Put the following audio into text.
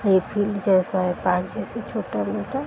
ये फील्ड जैसा है। पार्क जैसे छोटा मोटा --